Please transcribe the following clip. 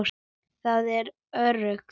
Það er öruggt.